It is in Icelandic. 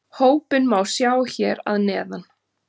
Hópinn má sjá hér að neðan